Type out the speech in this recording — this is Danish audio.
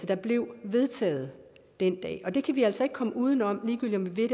der blev vedtaget den dag og det kan vi altså ikke komme udenom ligegyldig om vi